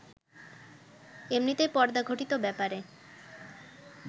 এমনিতেই পর্দাঘটিত ব্যাপারে